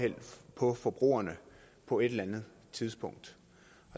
på forbrugerne på et eller andet tidspunkt